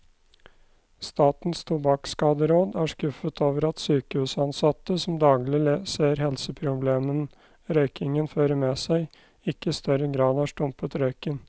Statens tobakkskaderåd er skuffet over at sykehusansatte, som daglig ser helseproblemene røykingen fører med seg, ikke i større grad har stumpet røyken.